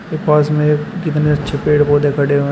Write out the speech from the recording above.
के पास में कितने अच्छे पेड़ पौधे खड़े हुए हैं।